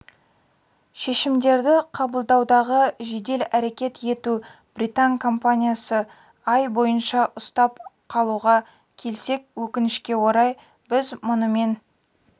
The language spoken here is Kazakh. шешімдерді қабылдаудағы жедел әрекет ету британ компаниясы ай бойынша ұстап қалуға келсек өкінішке орай біз мұнымен